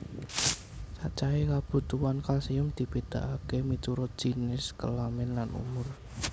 Cacahé kabutuhan kalsium dibedakaké miturut jinis kelamin lan umur